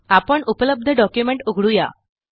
आपण उपलब्ध डॉक्युमेंट उघडू या